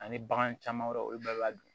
Ani bagan caman wɛrɛw olu bɛɛ b'a dun